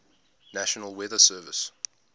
national weather service